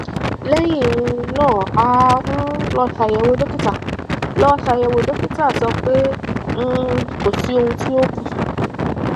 lẹyìn um náà a um lọ ṣàyẹwò dókítà lọ ṣàyẹwò dókítà sọ pé um kò sí ohun tí ó kù